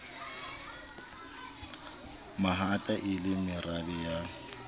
mahata e le marabe ya